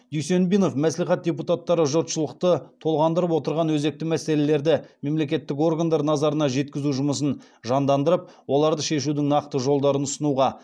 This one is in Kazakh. дүйсенбинов мәслихат депутаттары жұртшылықты толғандырып отырған өзекті мәселелерді мемлекеттік органдар назарына жеткізу жұмысын жандандырып оларды шешудің нақты жолдарын ұсынуға